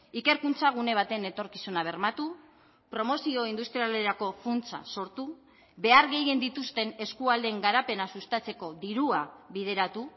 ikerkuntza gune baten etorkizuna bermatu promozio industrialerako funtsa sortu behar gehien dituzten eskualdeen garapena sustatzeko dirua bideratu